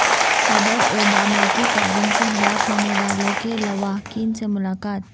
صدر اوباما کی فائرنگ سے ہلاک ہونے والوں کے لواحقین سے ملاقات